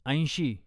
ऐंशी